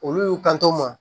Olu y'u kanto ma